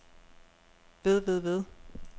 ved ved ved